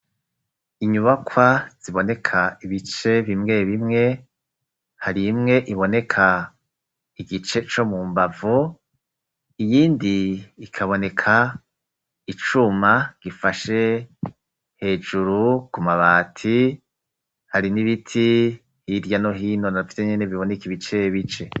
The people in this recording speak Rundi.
inyubakwa ziboneka ibice bimwe bimwe hari imwe iboneka igice co mu mbavu iyindi ikaboneka icuma gifashe hejuru ku mabati hari n'ibiti hirya no hino navyo nyene biboneka ibice bice